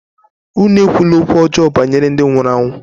Unu ekwula okwu ọjọọ banyere ndị nwụrụ anwụ!